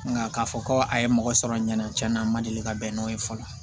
Nka k'a fɔ ko a ye mɔgɔ sɔrɔ ɲanatiyan a ma deli ka bɛn n'o ye fɔlɔ